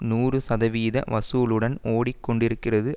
நூறு சதவீத வசூலுடன் ஓடிக் கொண்டிருக்கிறது